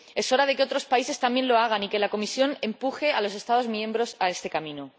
Es hora de que otros países también lo hagan y de que la Comisión empuje a los Estados miembros a este camino.